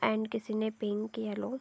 and किसी ने pink yellow --